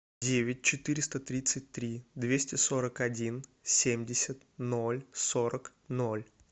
девять четыреста тридцать три двести сорок один семьдесят ноль сорок ноль